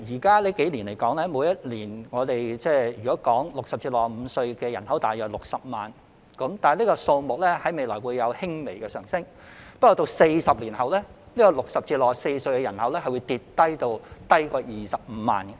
近數年來 ，60 歲至65歲的人口維持在約60萬人，這數目未來會輕微上升，但40年後 ，60 歲至64歲的人口會下跌至少於25萬人。